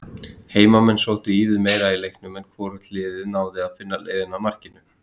Heimamenn sóttu ívið meira í leiknum en hvorugt liðið náði að finna leiðina að markinu.